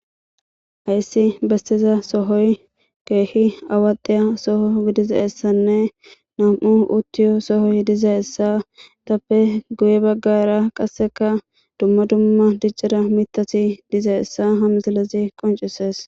Hayssi bessiza sohoy keehi awaxiya soho gidizaessanne nam7u uttiyo sohoy dize essa tappe guye baggara qasseka dumma dumma diccira mitati dize essa hamsilezi qoncisees.